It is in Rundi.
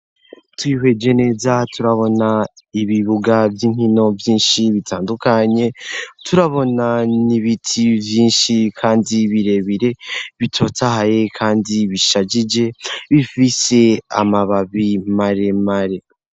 Tubihweje neza turabona ibibuga vy'inkino vyinshi bitandukanye turabona ni ibiti vyinshi, kandi birebire bitotahaye, kandi bishajije bifise amababi maremare.